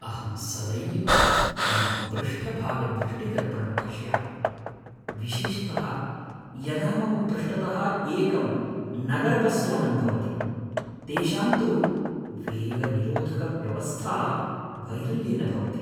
अहं सदैव मम पृष्ठभागदृष्टिदर्पणं पश्यामि, विशेषतः यदा मम पृष्ठतः एकं नगरबस्यानं भवति। तेषां तु वेगनिरोधकव्यवस्था वैरल्येन भवति।